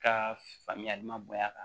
Ka faamuyali ma bonya a kan